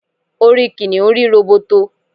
orí kìnìún rí róbótó